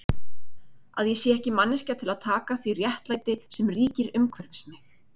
Að ég sé ekki manneskja til að taka því réttlæti sem ríkir umhverfis mig?